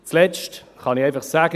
Als Letztes kann ich sagen: